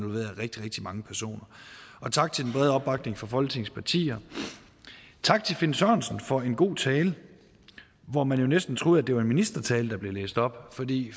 rigtig rigtig mange personer tak til den brede opbakning fra folketingets partier tak til finn sørensen for en god tale hvor man næsten troede det var en ministertale der blev læst op fordi